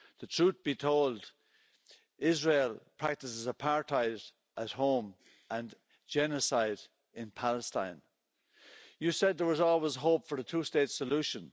Truth be told, Israel practises apartheid at home and genocide in Palestine. You said there was always hope for the two-state solution.